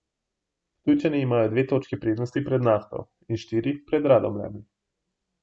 Ptujčani imajo dve točki prednosti pred Nafto in štiri pred Radomljami.